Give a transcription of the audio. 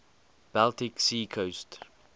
baltic sea coast